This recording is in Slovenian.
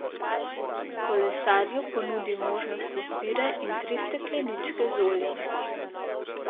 Kolesarju ponudi možnost izbire in tri stekleničke z oljem.